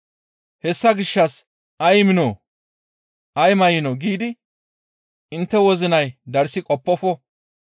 «Hessa gishshas, ‹Ay miinoo? Ay may7inoo?› giidi intte wozinay darssi qoppofo.